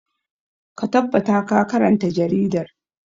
Ka tabbata ka karanta jaridar!